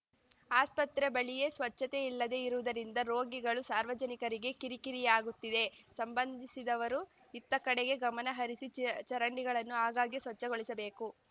ಆಸ್ಪತ್ರೆ ಬಳಿಯೇ ಸ್ವಚ್ಚತೆ ಇಲ್ಲದೆ ಇರುವುದರಿಂದ ರೋಗಿಗಳು ಸಾರ್ವಜನಿಕರಿಗೆ ಕಿರಿಕಿರಿಯಾಗುತ್ತಿದೆ ಸಂಬಂಧಿಸಿದವರು ಇತ್ತ ಕಡೆಗೆ ಗಮನಹರಿಸಿ ಚ್ ಚರಂಡಿಗಳನ್ನು ಆಗಾಗ್ಗೆ ಸ್ವಚ್ಛಗೊಳಿಸಬೇಕು